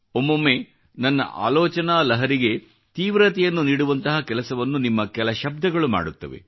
ಒಮ್ಮೊಮ್ಮೆ ನನ್ನ ಆಲೋಚನಾ ಲಹರಿಗೆ ತೀವ್ರತೆಯನ್ನು ನೀಡುವಂತಹ ಕೆಲಸವನ್ನು ನಿಮ್ಮ ಕೆಲ ಶಬ್ದಗಳು ಮಾಡುತ್ತವೆ